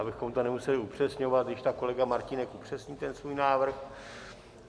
Abychom to nemuseli upřesňovat, když tak kolega Martínek upřesní ten svůj návrh.